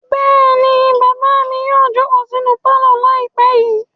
Bẹ́ẹ̀ ni, bàbá mi yóò jókòó sínú pálọ̀ lálẹ́ yìí.